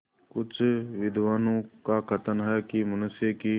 कुछ विद्वानों का कथन है कि मनुष्य की